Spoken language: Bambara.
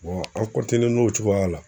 an n'o cogoya la.